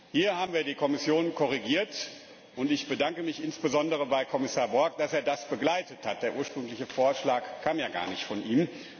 Hier haben wir die Kommission korrigiert, und ich bedanke mich insbesondere bei Kommissar Borg, dass er das begleitet hat Der ursprüngliche Vorschlag kam ja gar nicht von ihm.